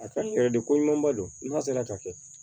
A ka yɛrɛ de ko ɲumanba don n'a sera ka kɛ